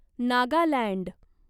Nagaland